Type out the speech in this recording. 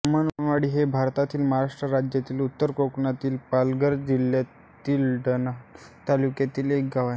ब्राह्मणवाडी हे भारतातील महाराष्ट्र राज्यातील उत्तर कोकणातील पालघर जिल्ह्यातील डहाणू तालुक्यातील एक गाव आहे